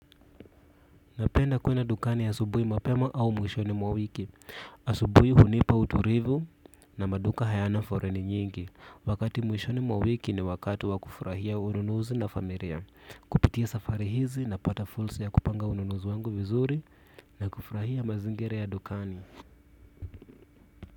Napenda kwenda dukani asubuhi mapema au mwishoni mwa wiki. Asubuhi hunipa utulivu na maduka hayana foleni nyingi. Wakati mwishoni mwa wiki ni wakati wa kufurahia ununuzu na familia. Kupitia safari hizi napata fursa ya kupanga ununuzi wangu vizuri na kufurahia mazingira ya dukani.